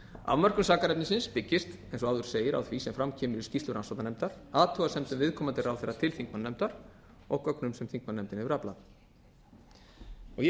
afmörkun sakarefnisins byggist eins og áður segir á því sem fram kemur í skýrslu rannsóknarnefndar athugasemdum viðkomandi ráðherra til þingmannanefndar og gögnum sem þingmannanefndin hefur aflað ég